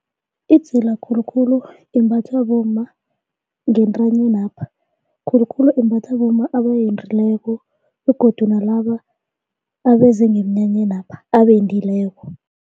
Idzila khulukhulu imbathwa bomma ngentwanyenapha, khulukhulu imbathwa bomma abendileko begodu nalaba abeze ngeminyanyenapha abendileko.